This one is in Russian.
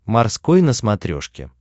морской на смотрешке